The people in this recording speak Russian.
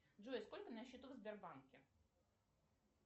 джой сколько на счету в сбербанке